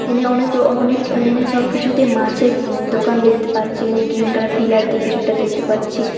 এনে অনেক রো অনেক এনে সবকিছুতে মাছের উ দোকান দেখতে পাচ্ছি এনে গ্রীন কালার পিলার দিয়ে কিছুটা দেখতে পাচ্ছি।